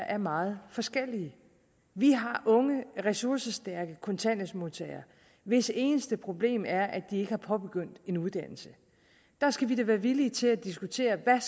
er meget forskellig vi har unge ressourcestærke kontanthjælpsmodtagere hvis eneste problem er at de ikke har påbegyndt en uddannelse der skal vi da være villige til at diskutere hvad